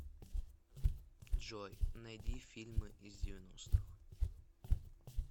джой найди фильмы из девяностых